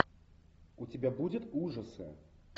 у тебя будет ужасы